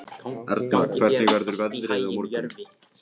Erna, hvernig verður veðrið á morgun?